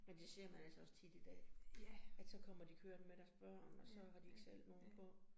Men det ser man altså også tit i dag, at så kommer de kørende med deres børn, og så har de ikke selv nogen på